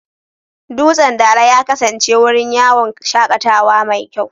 Dutsen Dala ya kasance wurin yawon shakatawa mai kyau.